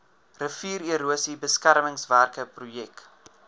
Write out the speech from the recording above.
riviererosie beskermingswerke projek